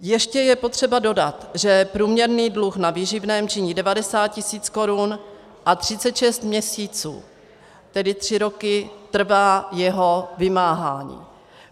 Ještě je potřeba dodat, že průměrný dluh na výživném činí 90 tis. korun a 36 měsíců, tedy tři roky, trvá jeho vymáhání.